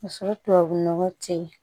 Ka sɔrɔ tubabunɔgɔ tɛ yen